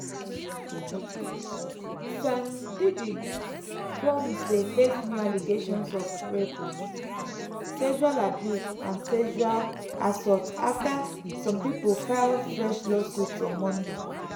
sean "diddy" combs dey face new allegations of rape sexual abuse and sexual assault afta some pipo file fresh lawsuits on monday.